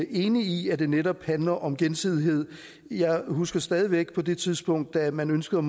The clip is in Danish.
enig i at det netop handler om gensidighed jeg husker stadig væk på det tidspunkt da man ønskede